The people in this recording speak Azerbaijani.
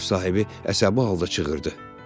Ev sahibi əsəbi halda çığırdı.